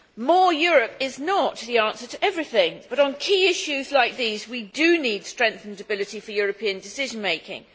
More Europe' is not the answer to everything, but on key issues like these we do need strengthened ability for European decision making.